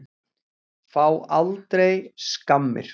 Fá aldrei skammir.